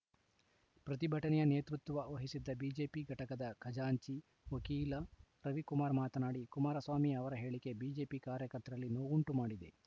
ಪ್ರತಿಭಟನೆಯ ನೇತೃತ್ವ ವಹಿಸಿದ್ದ ಬಿಜೆಪಿ ಘಟಕದ ಖಜಾಂಚಿ ವಕೀಲ ರವಿಕುಮಾರ್‌ ಮಾತನಾಡಿ ಕುಮಾರಸ್ವಾಮಿ ಅವರ ಹೇಳಿಕೆ ಬಿಜೆಪಿ ಕಾರ್ಯಕರ್ತರಲ್ಲಿ ನೊವುಂಟು ಮಾಡಿದೆ